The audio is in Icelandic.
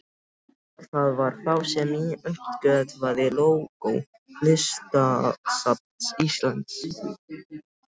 Það var þá sem ég uppgötvaði lógó Listasafns Íslands.